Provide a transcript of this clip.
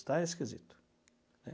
Está esquisito, né?